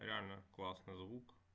реально классный звук